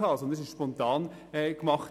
Es war eine spontane Aktion.